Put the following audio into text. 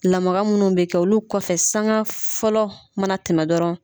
Lamaga munnu bɛ kɛ olu kɔfɛ sanga fɔlɔ mana tɛmɛ dɔrɔn